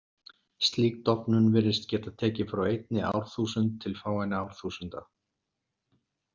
Slík dofnun virðist geta tekið frá einni árþúsund til fáeinna árþúsunda.